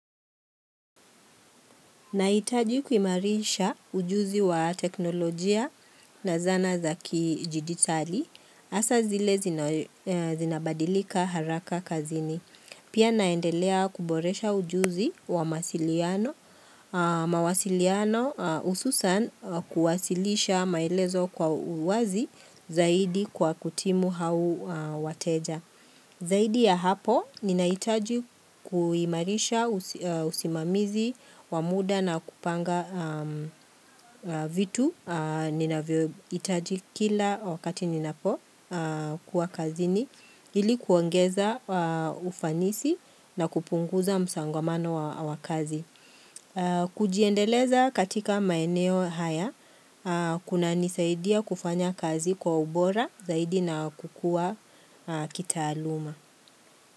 Nahitaji kuimarisha ujuzi wa teknolojia na zana za kijiditali, hasa zile zinabadilika haraka kazini. Pia naendelea kuboresha ujuzi wa mawasiliano hususan kuwasilisha maelezo kwa uwazi zaidi kwa kutimu hao wateja. Zaidi ya hapo, ninahitaji kuimarisha, usimamizi, wa muda na kupanga vitu, ninavyohitaji kila wakati ninapokuwa kazini, ili kuongeza ufanisi na kupunguza msongamano wa kazi. Kujiendeleza katika maeneo haya, kunanisaidia kufanya kazi kwa ubora zaidi na kukua kitaaluma.